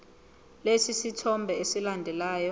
lesi sithombe esilandelayo